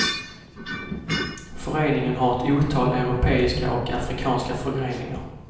Föreningen har ett otal europeiska och afrikanska förgreningar.